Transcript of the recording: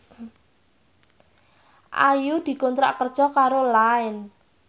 Ayu dikontrak kerja karo Line